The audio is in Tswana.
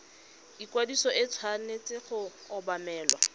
ikwadiso e tshwanetse go obamelwa